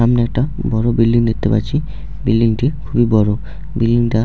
সামনে একটা বড় বিল্ডিং দেখতে পাচ্ছি | বিল্ডিং -টি খুবই বড় | বিল্ডিং টা --